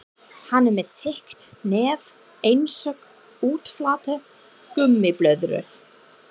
Hann er með þykkt nef einsog útflatta gúmmíblöðru.